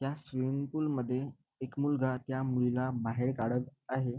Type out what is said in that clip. या swimming pool मध्ये एक मुलगा त्या मुलीला बाहेर काढत आहे.